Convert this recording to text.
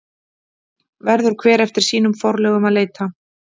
Verður hver eftir sínum forlögum að leita.